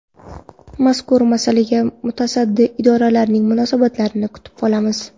Mazkur masalaga mutasaddi idoralarning munosabatlarini kutib qolamiz.